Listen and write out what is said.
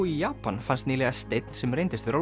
í Japan fannst nýlega steinn sem reyndist vera